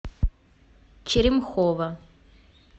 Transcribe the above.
черемхово